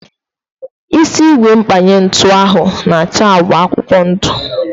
Isi ígwè mkpanye ntụ ahu na acha agba akwụkwọ ndu